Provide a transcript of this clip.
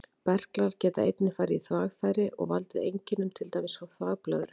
Berklar geta einnig farið í þvagfæri og valdið einkennum, til dæmis frá þvagblöðru.